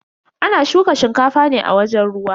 Ana shuka shinkafa ne a wajen ruwa.